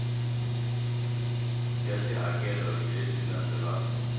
ya tihakelo hi leswi landzelaka